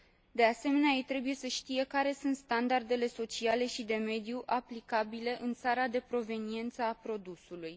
De asemenea, ei trebuie să știe care sunt standardele sociale și de mediu aplicabile în țara de proveniență a produsului.